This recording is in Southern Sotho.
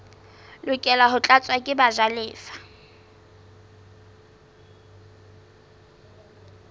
lokela ho tlatswa ke bajalefa